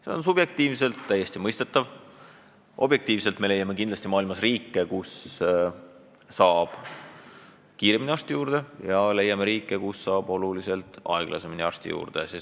See on subjektiivselt täiesti mõistetav, objektiivselt vaadates leiame kindlasti maailmas riike, kus saab kiiremini arsti juurde, ja leiame riike, kus saab oluliselt aeglasemalt arsti juurde.